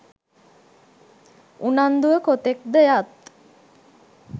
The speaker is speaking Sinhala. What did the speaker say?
උනන්දුව කොතෙක් ද යත්